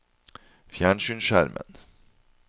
fjernsynsskjermen